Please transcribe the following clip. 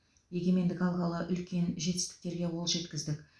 егемендік алғалы үлкен жетістіктерге қол жеткіздік